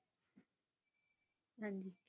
ਹਾਂਜੀ।